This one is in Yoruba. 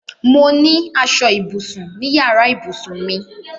Mo ní aṣọ ibùsùn ní yàrá ìbùsùn mi.